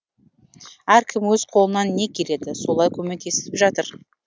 әркім өз қолынан не келеді солай көмектесіп жатыр